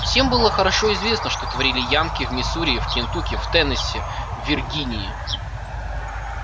всем было хорошо известно что творили янки в миссури в кентукки в теннесси в виргинии